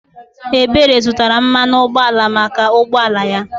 Ebere zụtara mmanụ ụgbọala maka ụgbọala ya.